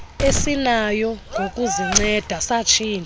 esinayo ngokuzinceda satshintsha